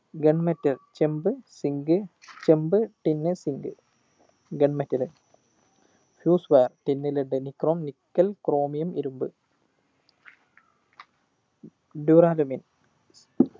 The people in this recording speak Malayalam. gun metal ചെമ്പ് zinc ചെമ്പ് tin zinc gun metalfuse wire tin led nichrome nickel chromium ഇരുമ്പ് duralumin